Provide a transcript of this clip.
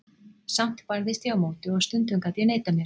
Samt barðist ég á móti og stundum gat ég neitað mér.